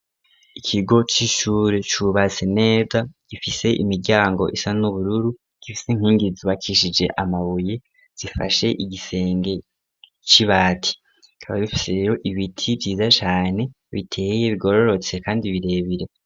Ikigo c'ishure cubatse neza gifise imiryango isa n'ubururu gifise inkingizbakishije amabuye zifashe igisenge c'ibati .KIkaba bifiseho ibiti vyiza cane biteye bigororotse kandi birebire.